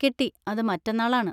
കിട്ടി, അത് മറ്റന്നാളാണ്.